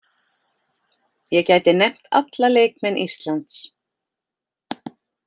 Ég gæti nefnt alla leikmenn Íslands.